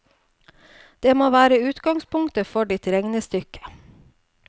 Det må være utgangspunktet for ditt regnestykke.